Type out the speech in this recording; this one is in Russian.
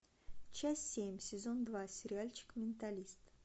часть семь сезон два сериальчик менталист